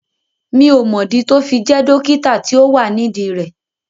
Mi ò mọ̀ dí tó fi jẹ́ dókítà tí ó wà nídìí rẹ̀